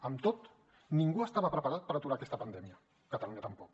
amb tot ningú estava preparat per aturar aquesta pandèmia catalunya tampoc